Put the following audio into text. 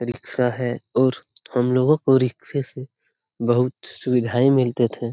Rickshaw है और हम लोगो को रिक्शे से बहुत सुविधाएँ मिलते थे।